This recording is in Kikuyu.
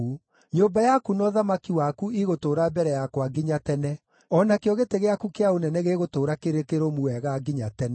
Nyũmba yaku na ũthamaki waku igũtũũra mbere yakwa nginya tene; o nakĩo gĩtĩ gĩaku kĩa ũnene gĩgũtũũra kĩrĩ kĩrũmu wega nginya tene.’ ”